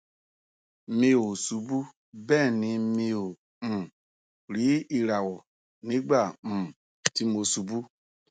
mi ò ṣubú bẹẹ ni mi ò um rí ìràwọ nígbà um tí mo ṣubú